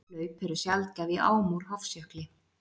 Hlaup eru sjaldgæf í ám úr Hofsjökli.